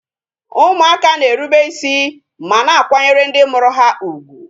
Ụmụaka na-erube isi ma na akwanyere ndị mụrụ ha ugwu